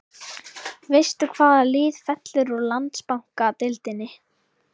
Veist þú hvaða lið fellur úr Landsbankadeildinni?